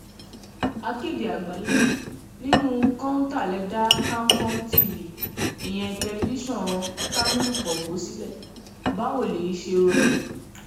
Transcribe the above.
akéde àgbáyé nínú kọ́ńtà lè dá kamkom tv ìyẹn tẹlifíṣàn kamilu kọ́pọ̀ sílẹ̀ báwo lèyí ṣe rọrùn